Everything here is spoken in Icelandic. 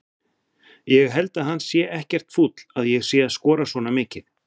Ég held að hann sé ekkert fúll að ég sé að skora svona mikið.